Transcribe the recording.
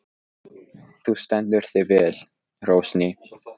Þú stendur þig vel, Rósný!